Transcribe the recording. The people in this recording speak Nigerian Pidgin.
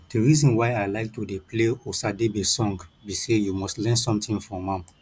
the reason why i like to dey play osadebe song be say you must learn something from am